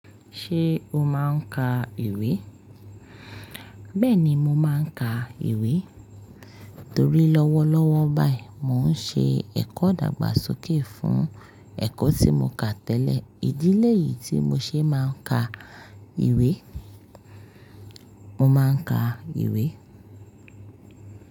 Ṣé o máa ń ka ìwé? Bẹ́ẹ̀ni mo máa ń ka ìwé torí lọ́wọ́lọ́wọ́ báyìí mò ń ṣe ẹ̀kọ́ idàgbàsókè fún ẹ̀kọ́ tí mo kà tẹ́lẹ̀. Ìdí léyìí tí mo ṣe máa ń ka ìwé, mo máa ń ka ìwé.